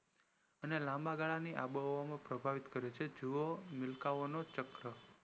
અને લાંબા ગાળાની આંબો હવા ને પ્રભાવિત કરે છે જોવો મિલ્કા ઓ નો ચક્ર